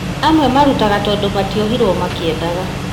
Amwe marutaga tondũ matiohiruo makĩendaga